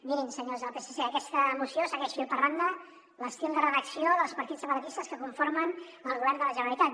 mirin senyors del psc aquesta moció segueix fil per randa l’estil de redacció dels partits separatistes que conformen el govern de la generalitat